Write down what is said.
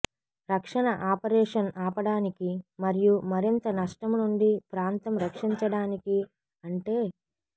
రక్షణ ఆపరేషన్ ఆపడానికి మరియు మరింత నష్టం నుండి ప్రాంతం రక్షించడానికి అంటే